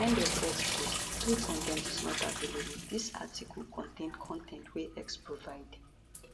end of x post 3 con ten t is not available dis article contain con ten t wey x provide